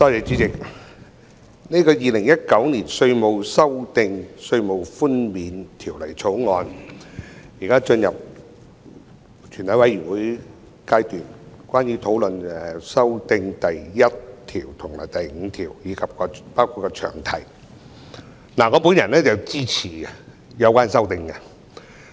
主席，《2019年稅務條例草案》現在進入全體委員會審議階段，討論第1至5條及詳題的修訂，我支持有關的修正案。